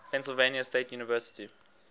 pennsylvania state university